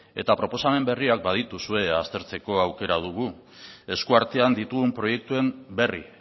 eta proposamen berriak badituzue aztertzeko aukera dugu eskuartean ditugun proiektuen berri